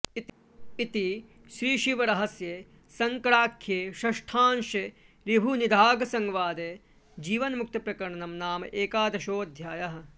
इति श्रीशिवरहस्ये शङ्कराख्ये षष्ठांशे ऋभुनिदाघसंवादे जीवन्मुक्तप्रकरणं नाम एकादशोऽध्यायः